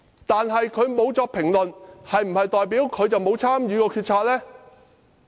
梁振英沒有評論，是否代表他沒有參與決策？